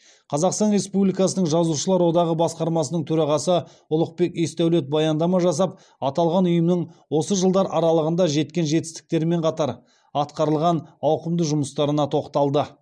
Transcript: қазақстан республикасының жазушылар одағы басқармасының төрағасы ұлықбек есдәулет баяндама жасап аталған ұйымның осы жылдар аралығында жеткен жетістіктерімен қатар атқарылған ауқымды жұмыстарына тоқталды